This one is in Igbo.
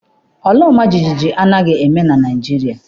Ala ọmajiji anaghị eme na Naịjirịa.